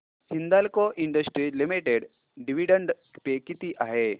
Hindalco Industries Limited dividend pay किती आहे